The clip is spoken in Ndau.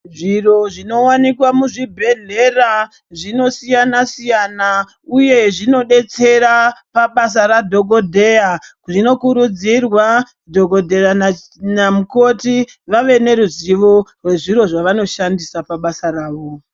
Zviro zvinowanikwa muzvibhehlera zvinosiyana-siyana uye zvinodetsera pabasa radhogodheya. Zvinokurudzirwa dhogodheya namukoti vave neruzivo rwezviro zvavano shandisa pabasa ravo.